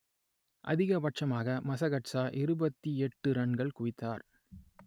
அதிகப்பட்சமாக Masakadza இருபத்தி எட்டு ரன்கள் குவித்தார்